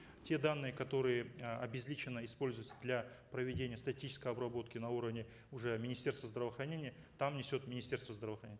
те данные которые э обезличенно используются для проведения статической обработки на уровне уже министерства здравоохранения там несет министерство здравоохранения